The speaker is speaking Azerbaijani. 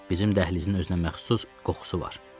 Bizim dəhlizin özünə məxsus qoxusu var.